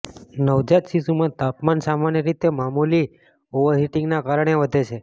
નવજાત શિશુમાં તાપમાન સામાન્ય રીતે મામૂલી ઓવરહિટીંગના કારણે વધે છે